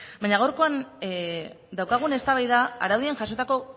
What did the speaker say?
baina gaurkoan daukagun eztabaida araudian jasotako